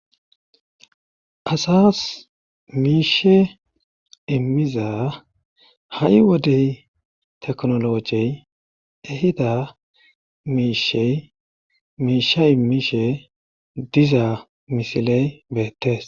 Asas miishe immiza ha'i wodey teknologey ehida miishey miisha imishe dizaa misiley beettees,